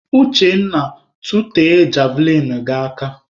Uchenna, tụtee javlịnụ gị aka!